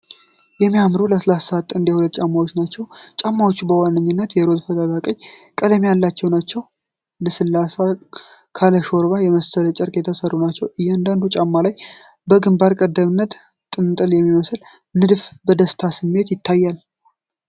የሚያምሩ፣ ለስላሳ፣ ጥንድ የሕፃን ጫማዎችን ናቸው። ጫማዎቹ በዋነኝነት የሮዝ (ፈዛዛ ቀይ) ቀለም ያላቸው ነው፣ ልስልስ ካለ ሹራብ የመሰለ ጨርቅ የተሰሩ ናቸው። እያንዳንዱ ጫማ ላይ በግንባር ቀደምትነት ጥንቸል የሚመስል ንድፍ በደስታ ስሜት ይታያል።